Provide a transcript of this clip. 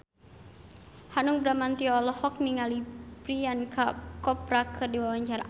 Hanung Bramantyo olohok ningali Priyanka Chopra keur diwawancara